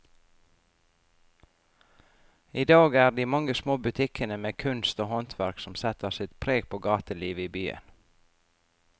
I dag er det de mange små butikkene med kunst og håndverk som setter sitt preg på gatelivet i byen.